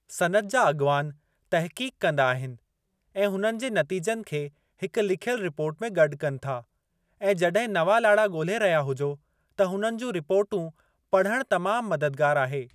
सनइत जा अॻवान तहक़ीक़ कंदा आहिनि ऐं हुननि जे नतीजनि खे हिक लिखियलु रिपोर्ट में गॾु कनि था, ऐं जॾहिं नवां लाड़ा ॻोल्हे रहिया हुजो त हुननि जूं रिपोर्टूं पढ़ण तमामु मददगारु आहे।